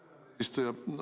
Aitäh, hea eesistuja!